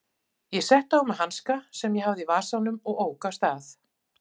Ég setti á mig hanska sem ég hafði í vasanum og ók af stað.